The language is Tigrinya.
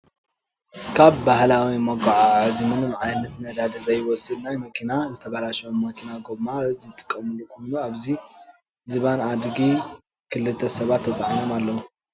ካብ ባህላዊ መጉዓዓዚ ምንም ዓይነት ነዳዲ ዘይትወስድ ናይ መኪና ዝተባለሸወ መኪና ጎማ ዝጥቀምሉ ኮኑ ኣብዚ ዝባን ኣድጊ ክልተ ሰባት ተፃዒኖም ኣለው።